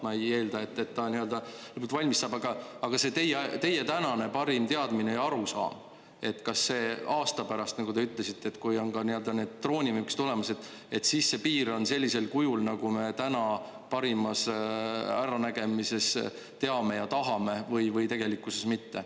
Ma ei eelda, et ta nüüd valmis saab, aga see teie tänane parim teadmine ja arusaam, et kas aasta pärast, nagu te ütlesite, kui on ka need droonivõimekused olemas, et siis see piir on sellisel kujul, nagu me täna parimas äranägemises teame ja tahame, või tegelikkuses mitte.